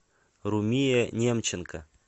румия немченко